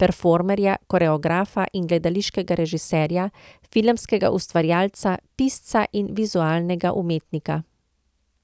performerja, koreografa in gledališkega režiserja, filmskega ustvarjalca, pisca in vizualnega umetnika.